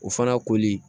O fana koli